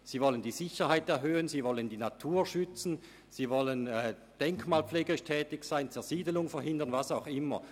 Sie wollen die Sicherheit erhöhen, die Natur schützen, denkmalpflegerisch tätig sein, die Zersiedelung verhindern und so weiter.